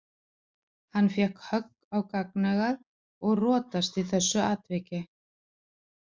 Hann fékk högg á gagnaugað og rotast í þessu atviki.